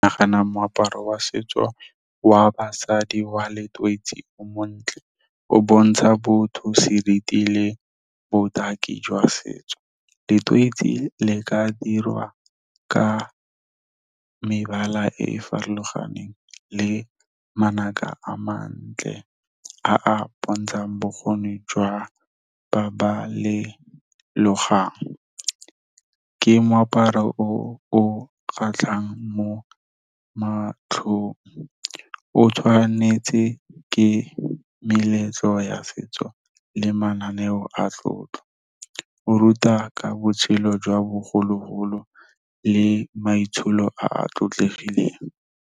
Ke nagana moaparo wa setso wa basadi wa letoisi o montle. O bontsha botho seriti le botaki jwa setso, letoisi le ka dirwa ka mebala e e farologaneng le manaka a mantle a a bontshang bokgoni jwa ba ba le logang. Ke moaparo o o kgatlhang mo matlhong, o tshwanetse ke meletlo ya setso le mananeo a tlotlo. O ruta ka botshelo jwa bogologolo le maitsholo a tlotlegileng.